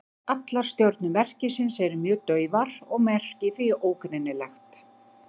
Allar stjörnur merkisins eru mjög daufar og merkið því ógreinilegt.